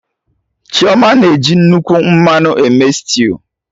Chioma na eji nnukwu mmanụ eme stew